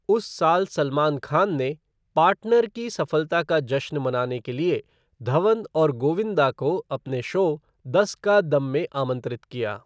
उस साल सलमान खान ने 'पार्टनर' की सफलता का जश्न मनाने के लिए धवन और गोविंदा को अपने शो 'दस का दम' में आमंत्रित किया।